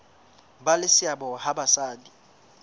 ba le seabo ha basadi